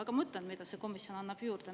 Ma ütlen, mida see komisjon annab juurde.